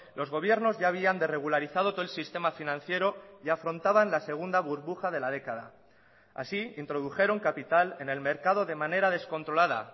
los gobiernos ya habían de regularizado todo el sistema financiero y afrontaban la segunda burbuja de la década así introdujeron capital en el mercado de manera descontrolada